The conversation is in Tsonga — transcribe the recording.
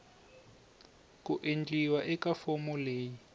ku endliwa eka fomo leyi